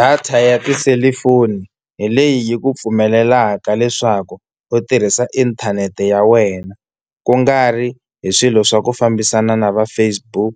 Data ya tiselifoni hi leyi yi ku pfumelelaka leswaku u tirhisa inthanete ya wena kungari hi swilo swa ku fambisana na va Facebook,